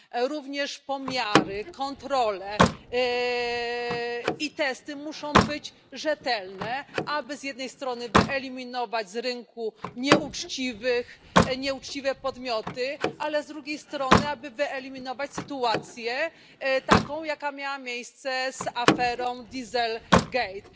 Również pomiary, kontrole i testy muszą być rzetelne, aby z jednej strony wyeliminować z rynku nieuczciwe podmioty, ale z drugiej strony, aby wyeliminować sytuacje, taką jaka miała miejsce z aferą Diesel Gate.